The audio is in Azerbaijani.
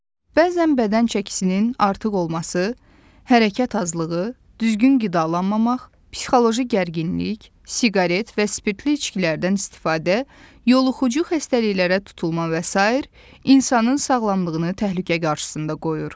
Bəzən bədən çəkisinin artıq olması, hərəkət azlığı, düzgün qidalanmamaq, psixoloji gərginlik, siqaret və spirtli içkilərdən istifadə, yoluxucu xəstəliklərə tutulma və sair insanın sağlamlığını təhlükə qarşısında qoyur.